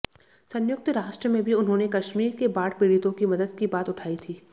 संयुक्त राष्ट्र में भी उन्होंने कश्मीर के बाढ़ पीड़ितो की मदद की बात उठाई थी